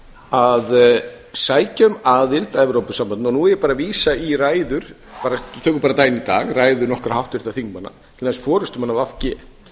að sækja um aðild að evrópusambandinu og nú er ég bara að vísa í ræður tökum bara dæmi í dag ræður nokkurra háttvirtra þingmanna til dæmis forustumanna v g